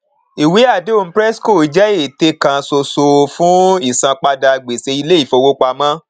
ìwé àdéhùn prescos jẹ ète kan ṣoṣo fún ìsanpadà gbèsè ilé ìfowópamọ